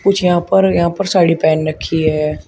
कुछ यहां पर यहां पर साड़ी पहन रखी है।